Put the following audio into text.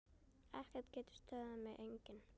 Ekkert getur stöðvað mig, enginn.